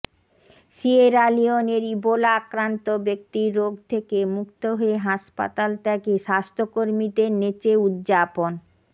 Sierra লিওনের Ebola আক্রান্ত ব্যক্তির রোগ থেকে মুক্ত হয়ে হাসপাতাল ত্যাগে স্বাস্থ্যকর্মীদের নেচে উদযাপন